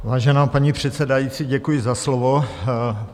Vážená paní předsedající, děkuji za slovo.